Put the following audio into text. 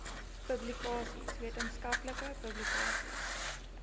publikasies wetenskaplike publikasies